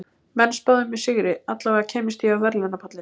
Menn spáðu mér sigri, allavega kæmist ég á verðlaunapallinn.